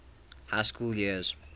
high school years